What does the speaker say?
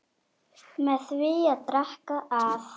með því að drekka það